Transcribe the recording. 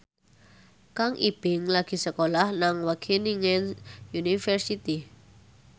Kang Ibing lagi sekolah nang Wageningen University